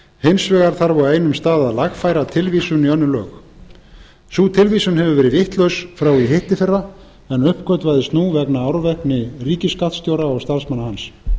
hins vegar þarf á einum stað að lagfæra tilvísun í önnur lög sú tilvísun hefur verið vitlaust frá í hittiðfyrra en uppgötvaðist nú vegna árvekni ríkisskattstjóra og starfsmanna hans